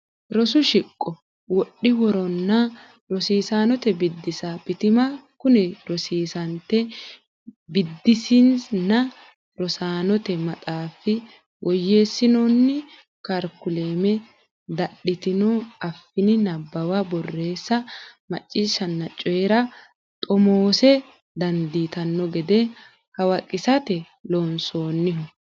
Rosu Shiqo Wodhi woronna Rosiisaanote Biddissa Bitima Kuni rosiisaannte biddissinnna rosaanote maxaafi woyyeessinoonni karikulame dadhitino afiinni nabbawa borreessa macciishshanna coyi ra xomoosse dandiitanno gede hawaqisate loonsoonniho.